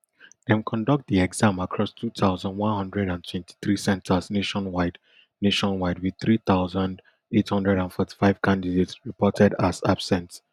dem conduct di exam across two thousand, one hundred and twenty-three centres nationwide nationwide wit three thousand, eight hundred and forty-five candidates reported as absent